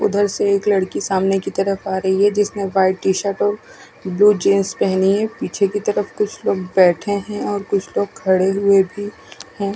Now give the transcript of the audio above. उधर से एक लड़की सामने की तरफ आ रही है जिसने वाइट टी-शर्ट और ब्लू पेहनी है पीछे की तरफ कुछ लोग बेठे है और कुछ लोग खड़े हुए भी है।